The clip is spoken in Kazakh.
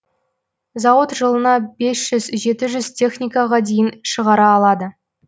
зауыт жылынабес жүз жеті жүз техникаға дейін шығара алады